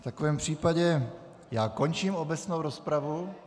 V takovém případě já končím obecnou rozpravu.